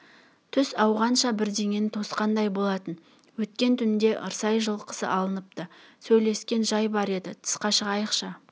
түс ауғанша бірдеңені тосқандай болатын өткен түнде ырсай жылқысы алыныпты сөйлесетін жай бар еді тысқа шығайықшы